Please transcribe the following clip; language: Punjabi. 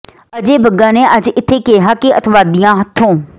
ਅਜੈ ਬੱਗਾ ਨੇ ਅੱਜ ਇੱਥੇ ਕਿਹਾ ਕਿ ਅੱਤਵਾਦੀਆਂ ਹੱਥੋਂ